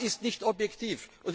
Das ist nicht objektiv.